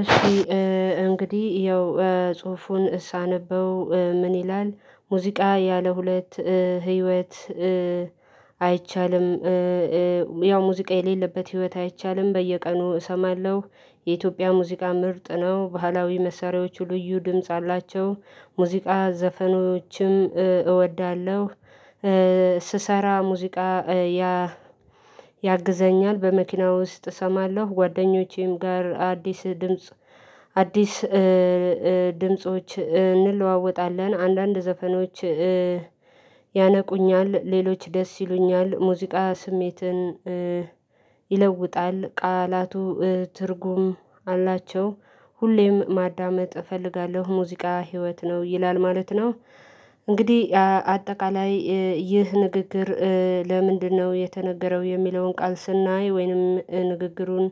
እሺ እንግዲህ ያው ጽሁፉን ሳነበው ምን ይላል? ሙዚቃ ያለ ሁለት ህይወት አይቻልም። ያው ሙዚቃ የሌለበት ህይወት አይቻልም በየቀኑ እሰማለሁ። የኢትዮጵያ ሙዚቃ ምርጥ ነው ባህላዊ መሳሪያዎቹ ልዩ ድምጽ አሏቸው ሙዚቃ ዘፈኖችም እወዳለሁ። ስሰራ ሙዚቃ ያግዘኛል በመኪናው ውስጥ እሰማለሁ ጓደኞቼም ጋር አዲስ ድምጽ አዲስ ድምጾች እንለዋወጣለን አንዳንድ ዘፈኖች ያነቁኛል ሌሎች ደስ ይሉኛል ሙዚቃ ስሜትን ይለውጣል ቃላቱ ትርጉም አላቸው። ሁሌም ማዳመጥ እፈልጋለሁ ሙዚቃ ህይወት ነው ይላል ማለት ነው። እንግዲህ አጠቃላይ ይህ ንግግር ለምንድነው የተነገረው የሚለውን ቃል ስናይ ወይንም ንግግሩን።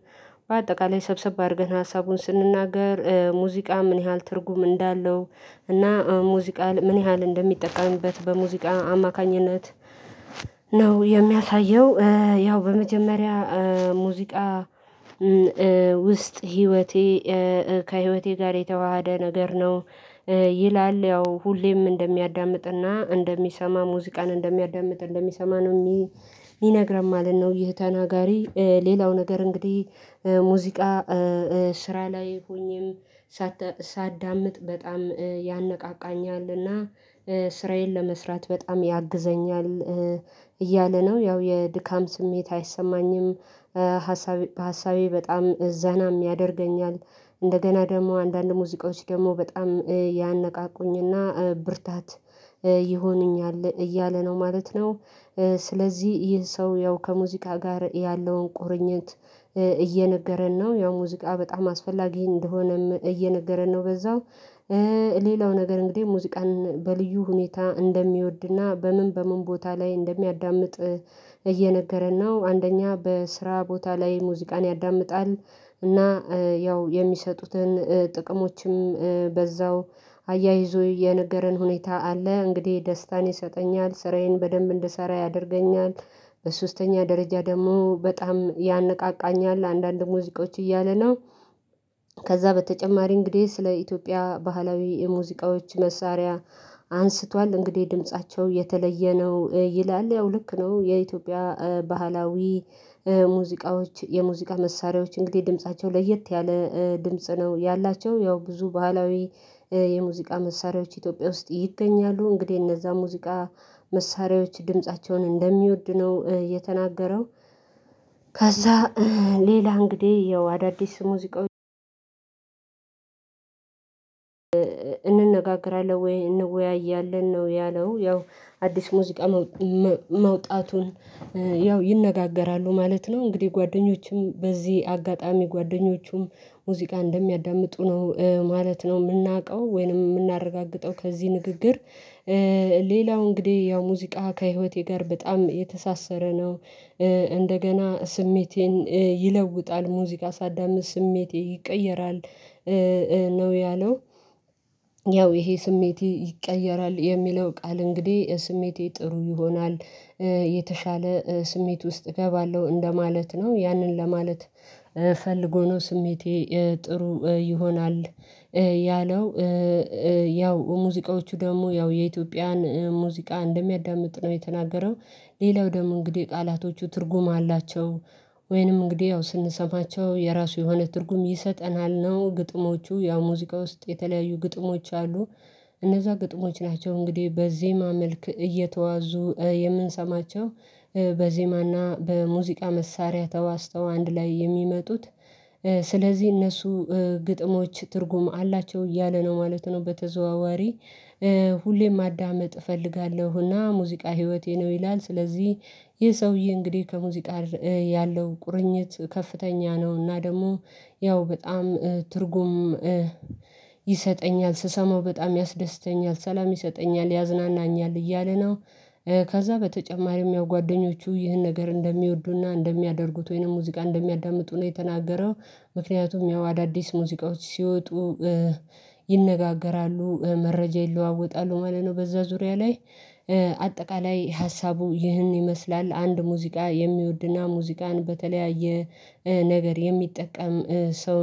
በአጠቃላይ ሰብሰብ አድርገን ሀሳቡን ስንናገር ሙዚቃ ምን ያህል ትርጉም እንዳለው እና ሙዚቃ ምን ያህል እንደሚጠቃምበት በሙዚቃ አማካኝነት ነው የሚያሳየው። ያው በመጀመሪያ ሙዚቃ ውስጥ ህይወቴ ከህይወቴ ጋር የተዋሃደ ነገር ነው። ይላል ያው ሁሌም እንደሚያዳምጥና እንደሚሰማ ሙዚቃን እንደሚያዳምጥ እንደሚሰማ ነው እሚነግረን ማለት ነው። ይህ ተናጋሪ ሌላው ነገር እንግዲህ ሙዚቃ ስራ ላይ ሆኜም ሳዳምጥ በጣም ያነቃቃኛልና ስራዬን ለመስራት በጣም ያግዘኛል እያለ ነው ያው የድካም ስሜት አይሰማኝም። ሀሳቤ በጣም ዘናም ያደርገኛል እንደገና ደግሞ አንዳንድ ሙዚቃዎች ደግሞ በጣም ያነቃቁኝና ብርታት ይሆኑኛል እያለ ነው ማለት ነው። ስለዚህ ይህ ሰው ያው ከሙዚቃ ጋር ያለውን ቁርኝት እየነገረን ነው ያው ሙዚቃ በጣም አስፈላጊ እንደሆነም እየነገረን ነው። በዛው ሌላው ነገር እንግዲህ ሙዚቃን በልዩ ሁኔታ እንደሚወድና በምን በምን ቦታ ላይ እንደሚያዳምጥ እየነገረን ነው። አንደኛ በስራ ቦታ ላይ ሙዚቃን ያዳምጣል እና ያው የሚሰጡትን ጥቅሞችም በዛው አያይዞ የነገረን ሁኔታ አለ እንግዲህ ደስታን ይሰጠኛል ስራዬን በደንብ እንድሰራ ያደርገኛል። በሶስተኛ ደረጃ ደግሞ በጣም ያነቃቃኛል አንዳንድ ሙዚቆች እያለ ነው። ከዛ በተጨማሪ እንግዲህ ስለ ኢትዮጵያ ባህላዊ የሙዚቃዎች መሳሪያ አንስቷል እንግዲህ ድምፃቸው የተለየ ነው ይላል ያው ልክ ነው የኢትዮጵያ ባህላዊ ሙዚቃዎች የሙዚቃ መሳሪያዎች እንግዲህ ድምፃቸው ለየት ያለ ድምጽ ነው ያላቸው ያው ብዙ ባህላዊ የሙዚቃ መሳሪያዎች ኢትዮጵያ ውስጥ ይገኛሉ እንግዲህ እነዛን ሙዚቃ መሳሪያዎች ድምፃቸውን እንደሚወድ ነው የተናገረው። ከዛ ሌላ እንግዲህ ያው አዳዲስ ሙዚቃ እነጋገራለሁ ወይ እንወያያለን ነው ያለው ያው አዲስ ሙዚቃ መውጣቱን ያው ይነጋገራሉ ማለት ነው። እንግዲህ ጓደኞቹም በዚህ አጋጣሚ ጓደኞቹም ሙዚቃ እንደሚያዳምጡ ነው ማለት ነው እምናውቀው ወይንም እምናረጋግጠው ከዚህ ንግግር። ሌላው እንግዲህ ያው ሙዚቃ ከህይወቴ ጋር በጣም የተሳሰረ ነው። እንደገና ስሜቴን ይለውጣል ሙዚቃ ሳዳምጥ ስሜቴ ይቀየራል ነው ያለው። ያው ይሄ ስሜቴ ይቀየራል የሚለው ቃል እንግዲህ ስሜቴ ጥሩ ይሆናል የተሻለ ስሜት ውስጥ እገባለሁ እንደማለት ነው ያንን ለማለት ፈልጎ ነው ስሜቴ ጥሩ ይሆናል ያለው። ያው ሙዚቃዎቹ ደሞ ያው የኢትዮጵያን ሙዚቃ እንደሚያዳምጥ ነው የተናገረው። ሌላው ደግሞ እንግዲህ ቃላቶቹ ትርጉም አላቸው። ወይንም እንግዲህ ያው ስንሰማቸው የራሱ የሆነ ትርጉም ይሰጠናል ነው ግጥሞቹ ያው ሙዚቃ ውስጥ የተለያዩ ግጥሞች አሉ እነዛ ግጥሞች ናቸው እንግዲህ በዜማ መልክ እየተዋዙ የምንሰማቸው በዜማና በሙዚቃ መሳሪያ ተዋዝተው አንድ ላይ የሚመጡት ስለዚህ እነሱ ግጥሞች ትርጉም አላቸው እያለ ነው ማለት ነው። በተዘዋዋሪ ሁሌም ማዳመጥ እፈልጋለሁና ሙዚቃ ህይወቴ ነው ይላል። ስለዚህ ይህ ሰውዬ እንግዲህ ከሙዚቃ ጋር ያለው ቁርኝት ከፍተኛ ነው እና ደሞ ያው በጣም ትርጉም ይሰጠኛል ስሰማው በጣም ያስደስተኛል ሰላም ይሰጠኛል ያዝናናኛል እያለ ነው። ከዛ በተጨማሪም ያው ጓደኞቹ ይህን ነገር እንደሚወዱና እንደሚያደርጉት ወይንም ሙዚቃ እንደሚያዳምጡ ነው የተናገረው። ምክንያቱም ያው አዳዲስ ሙዚቃዎች ሲወጡ ይነጋገራሉ መረጃ ይለዋወጣሉ ማለት ነው። በዛ ዙሪያ ላይ አጠቃላይ ሀሳቡ ይህን ይመስላል። አንድ ሙዚቃ የሚወድና ሙዚቃን በተለያየ ነገር የሚጠቀም ሰው